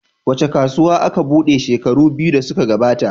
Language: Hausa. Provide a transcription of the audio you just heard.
Wace kasuwa aka buɗe shekaru biyu da suka gabata?